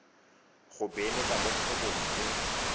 go beeletsa mo kgwebong e